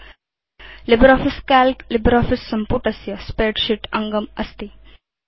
LibreOffice Calc LibreOffice सम्पुटस्य spreadsheet अङ्गम् अस्ति